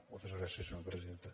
moltes gràcies senyora presidenta